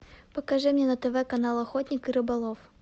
покажи мне на тв канал охотник и рыболов